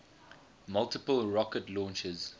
multiple rocket launchers